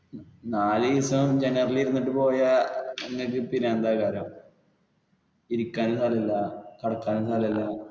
നാലുദിവസം general ൽ ഇരുന്നിട്ട് പോയാൽ ഇരിക്കാനും സ്ഥലം ഇല്ല കിടക്കാനും സ്ഥലും ഇല്ല.